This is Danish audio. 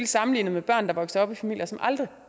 sammenlignet med børn der vokser op i familier som aldrig